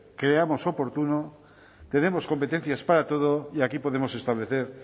creamos oportuno tenemos competencias para todo y aquí podemos establecer